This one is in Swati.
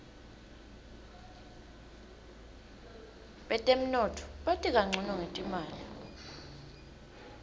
betemnotfo bati kancono ngetimali